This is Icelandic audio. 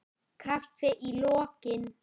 Kaffi í lokin.